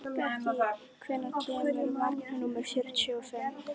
Bentey, hvenær kemur vagn númer fjörutíu og fimm?